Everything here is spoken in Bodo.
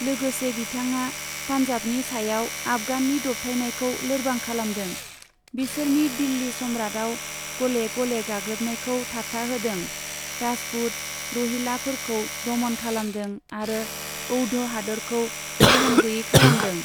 लोगोसे, बिथाङा पान्जाबनि सायाव आफगाननि दबथायनायखौ लोरबां खालामदों, बिसोरनि दिल्ली सम्राटआव गले गले गाग्लोबनायखौ थाबथाहोदों, राजपुत, रहिलाफोरखौ दमन खालामदों आरो औध हादोरखौ गोहोम गैयै खालामदों।